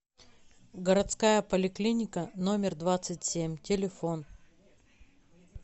городская поликлиника номер двадцать семь телефон